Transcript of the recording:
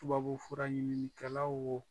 Tubabufura ɲininikɛlaw wo